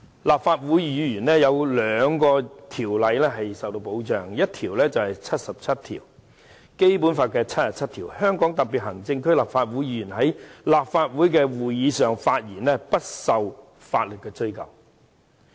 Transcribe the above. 立法會議員受到兩項法律條文保障，第一項是《基本法》第七十七條，該條訂明："香港特別行政區立法會議員在立法會的會議上發言，不受法律追究。